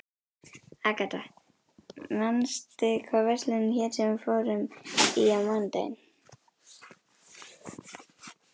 Agatha, manstu hvað verslunin hét sem við fórum í á mánudaginn?